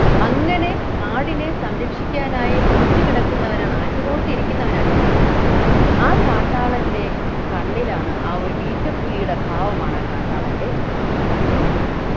അങ്ങനെ കാടിനെ സംരക്ഷിക്കാനായി നോറ്റുകിടക്കുന്നവനാണ് ആറ്റുനോറ്റിരിക്കുന്നവനാണ് ഈ കാട്ടാളൻ ആ കാട്ടാളൻ്റെ കണ്ണിലാണ് ആ ഒരു ഈറ്റപ്പുലിയുടെ ഭാവമാണ് ആ കാട്ടാളൻ്റെ കണ്ണിൽ ഇനി നോക്കൂ